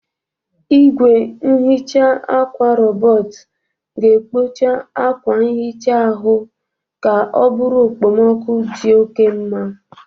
Igwe nhicha akwa rọbọt ga-ekpocha akwa nhicha ahụ ka ọ bụrụ okpomoku dị oke mma.